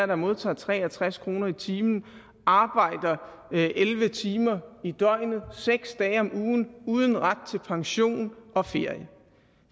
der modtager tre og tres kroner i timen arbejder elleve timer i døgnet seks dage om ugen uden ret til pension og ferie